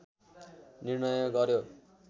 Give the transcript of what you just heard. निर्णय गर्‍यो